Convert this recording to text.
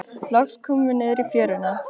Loks komum við niður í fjöruna.